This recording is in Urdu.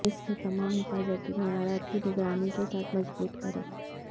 اس کے تمام حفاظتی معیارات کی نگرانی کے ساتھ مضبوط کریں